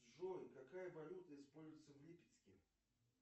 джой какая валюта используется в липецке